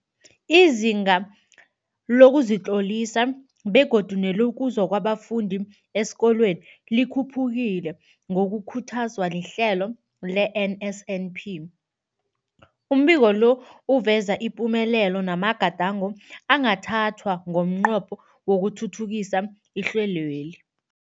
Izinga lokuzitlolisa begodu nelokuza kwabafundi esikolweni likhuphukile ngokukhuthazwa lihlelo le-NSNP. Umbiko lo uveza ipumelelo namagadango angathathwa ngomnqopho wokuthuthukisa ihlelweli.